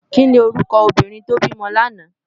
Kini órúkò óbìrín tó bimò làná?